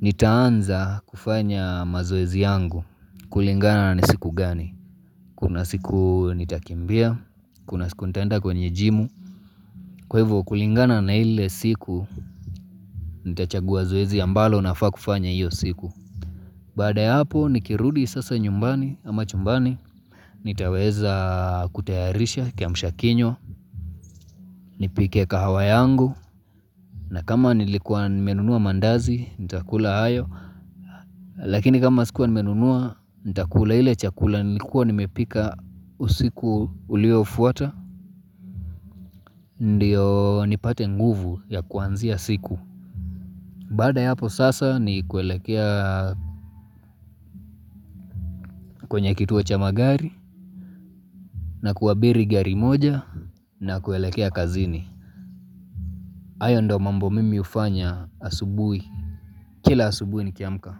nitaanza kufanya mazoezi yangu kulingana na ni siku gani. Kuna siku nitakimbia, kuna siku nitaenda kwenye jimu. Kwa hivu kulingana na ile siku nitachagua zoezi ambalo nafaa kufanya iyo siku. Baada ya hapo nikirudi sasa nyumbani ama chumbani nitaweza kutayarisha kiamshakinywa. Nipike kahawa yangu na kama nilikuwa nimenunua mandazi nita kula nayo. Lakini kama sikuwa nimenunua nita kula ile chakula nilikuwa nimepika usiku ulio fuata. Ndiyo nipate nguvu ya kuanzia siku. Baada ya hapo sasa ni kuelekea kwenye kituo cha magari na kuabiri gari moja na kuelekea kazini. Hayo ndo mambo mimi hufanya asubui, kila asubui nikiamka.